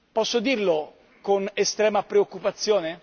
Posso dirlo con estrema preoccupazione?